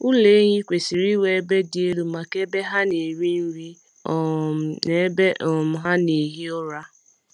Ụlọ ehi kwesịrị inwe ebe dị elu maka ebe ha na-eri nri um na ebe um ha na-ehi ụra.